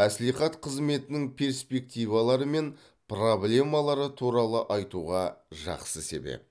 мәслихат қызметінің перспективалары мен проблемалары туралы айтуға жақсы себеп